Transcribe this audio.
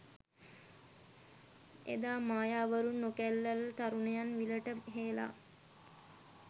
එදා මායාවරුන් නොකැලැල් තරුණියන් විලට හෙළා